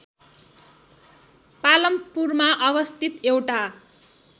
पालमपुरमा अवस्थित एउटा